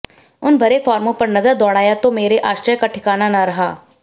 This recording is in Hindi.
उन भरे फार्मों पर नजर दौड़ाया तो मेरे आश्चर्य का ठिकाना न रहा